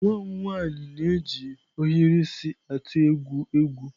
Nwa m nwanyị na-eji ohiri isi atụ egwu egwu.